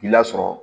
K'i lasɔrɔ